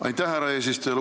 Aitäh, härra eesistuja!